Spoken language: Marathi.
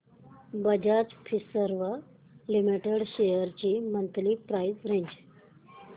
बजाज फिंसर्व लिमिटेड शेअर्स ची मंथली प्राइस रेंज